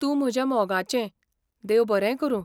तूं म्हज्या मोगाचें! देव बरें करूं.